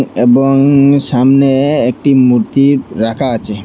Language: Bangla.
এবং সামনে একটি মূর্তি রাখা আচে।